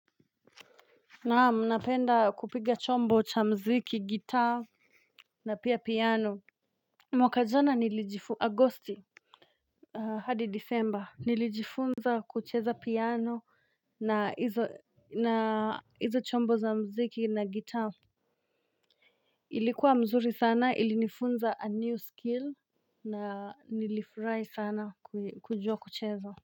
Naam, napenda kupiga chombo cha muziki gitaa. Na pia piano. Mwaka jana nilijifunza Agosti hadi Disemba nilijifunza kucheza piano na hizo na hizo chombo za muziki na gitaa. Ilikuwa mzuri sana ilinifunza a new skill. Na nilifurahi sana kujua kucheza.